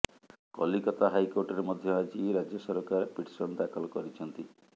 କଲିକତା ହାଇକୋର୍ଟରେ ମଧ୍ୟ ଆଜି ରାଜ୍ୟ ସରକାର ପିଟିସନ ଦାଖଲ କରିଛନ୍ତି